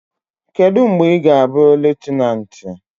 Kedu mgbe ị ga-abụ lutenanti?